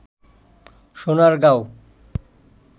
Sonargaon